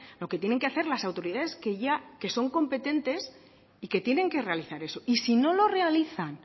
lo que tienen que hacer las autoridades que ya son competentes y que tienen que realizar eso y si no lo realizan